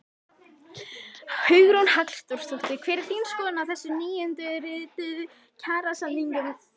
Hugrún Halldórsdóttir: Hver er þín skoðun á þessum nýundirrituðu kjarasamningum?